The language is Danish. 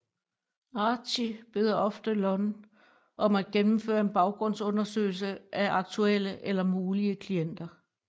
Archie beder ofte Lon om at gennemføre en baggrundsundersøgelse af aktuelle eller mulige klienter